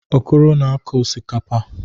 Okoro na-akụ osikapa.